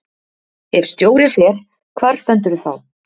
Ef stjóri fer, hvar stendurðu þá?